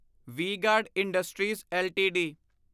we guard industries LTD